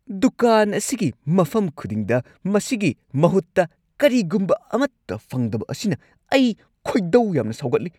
ꯗꯨꯀꯥꯟ ꯑꯁꯤꯒꯤ ꯃꯐꯝ ꯈꯨꯗꯤꯡꯗ ꯃꯁꯤꯒꯤ ꯃꯍꯨꯠꯇ ꯀꯔꯤꯒꯨꯝꯕ ꯑꯃꯠꯇ ꯐꯪꯗꯕ ꯑꯁꯤꯅ ꯑꯩ ꯈꯣꯏꯗꯧ ꯌꯥꯝꯅ ꯁꯥꯎꯒꯠꯂꯤ꯫